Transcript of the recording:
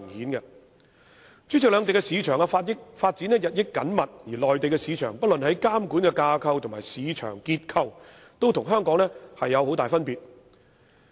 代理主席，兩地市場發展日益緊密，而內地市場不論在監管機構及市場結構上，也與香港有很大分別。